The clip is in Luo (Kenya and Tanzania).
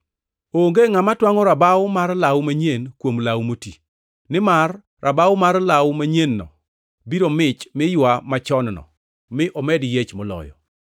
“Onge ngʼama twangʼo rabaw mar law manyien kuom law moti, nimar rabaw mar law manyien-no biro mich mi ywa law machon-no, mi omed yiech moloyo.